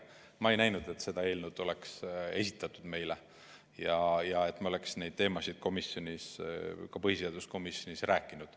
Ma ei näinud, et see eelnõu oleks meile esitatud ja et me oleksime neil teemadel põhiseaduskomisjonis rääkinud.